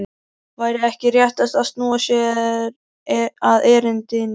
Væri ekki réttast að snúa sér að erindinu?